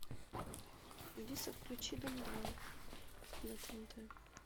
алиса включи дом два на тнт